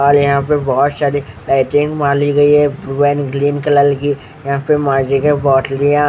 और यहां पे बहुत सारी लाइटिंग वाली गई है ब्लू एंड ग्रीन कलर की यहां पे मर्जी के पोटलिया--